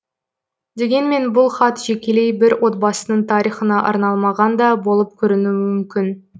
дегенмен бұл хат жекелей бір отбасының тарихына арналмаған да болып көрінуі мүмкін